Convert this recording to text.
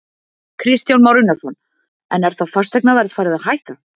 Kristján Már Unnarsson: En er þá fasteignaverð farið að hækka?